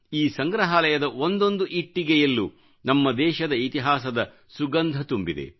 ಈ ಸಂಗ್ರಹಾಲಯದ ಒಂದೊಂದು ಇಟ್ಟಿಗೆಯಲ್ಲೂ ನಮ್ಮ ದೇಶದ ಇತಿಹಾಸದ ಸುಗಂಧ ತುಂಬಿದೆ